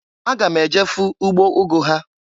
Aga m eje fụ ugbo ugu ha.